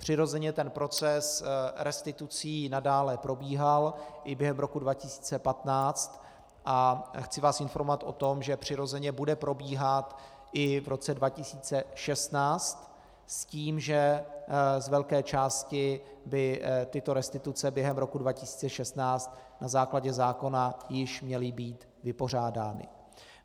Přirozeně ten proces restitucí nadále probíhal i během roku 2015 a chci vás informovat o tom, že přirozeně bude probíhat i v roce 2016 s tím, že z velké části by tyto restituce během roku 2016 na základě zákona již měly být vypořádány.